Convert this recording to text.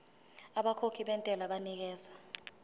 abakhokhi bentela banikezwa